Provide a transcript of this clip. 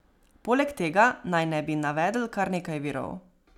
Poleg tega naj ne bi navedel kar nekaj virov.